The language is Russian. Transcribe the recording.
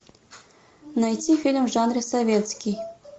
найти фильм в жанре советский